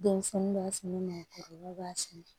Denmisɛnnin b'a f'i ɲɛna k'o kɔlɔlɔ b'a fin